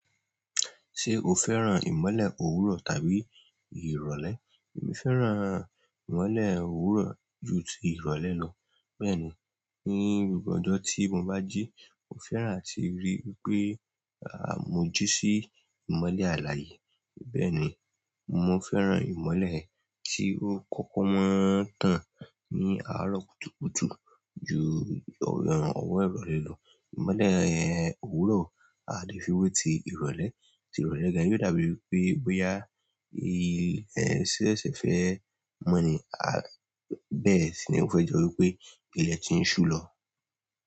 Ṣé o fẹ́ràn ìmọ́lẹ̀ òwúrọ̀ tàbí ìrọ̀lẹ́? Èmi fẹ́ràn ìmọ́lẹ̀ òwúrọ̀ ju ti ìrọ̀lẹ́ lọ. Bẹ́ẹ̀ni, ní gbogbo ọjọ́ tí mo bá jí, mo fẹ́ràn àti ríi wípé à mo jí sí ìmọ́lẹ̀ alààyè. Bẹ́ẹ̀ni, mo fẹ́ràn ìmọ́lẹ̀ tí ó kọ́kọ́ máa ń tàn ní àárọ̀ kùtùkùtù ju ọwọ́ ìrọ̀lẹ́ lọ. Ìmọ́lẹ̀ òwúrọ̀, a ò lè fi wé ti ìrọ̀lẹ́, ti ìrọ̀lẹ́ gan yóò dàbí wípé bóyá ṣé ó ṣẹ̀ṣẹ̀ fẹ́ mọ́ ni bẹ́ẹ̀ sì ni wípé nítorí wípé ilẹ̀ ti ń ṣú lọ.